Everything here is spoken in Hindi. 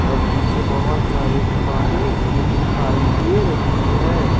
और पीछे बहुत सारे दुकाने भी दिखाई दे रही है।